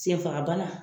Senfagabana